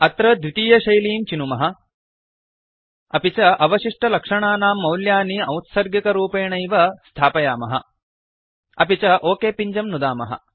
अत्र द्वितीयशैलीं चिनुमः अपि च अवशिष्टलक्षणानां मौल्यानि औत्सर्गिकरूपेणैव स्थापयामः अपि च ओक पिञ्जं नुदामः